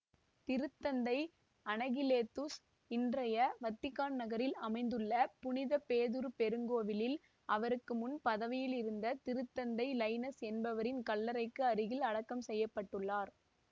திருத்தந்தை அனகிலேத்துஸ் இன்றைய வத்திக்கான் நகரில் அமைந்துள்ள புனித பேதுரு பெருங்கோவிலில் அவருக்குமுன் பதவியிலிருந்த திருத்தந்தை லைனஸ் என்பவரின் கல்லறைக்கு அருகில் அடக்கம் செய்ய பட்டுள்ளார்